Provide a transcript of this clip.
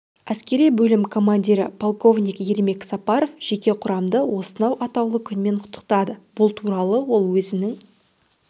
әскери бөлім командирі полковник ермек сапаров жеке құрамды осынау атаулы күнмен құттықтады бұл туралы ол өзінің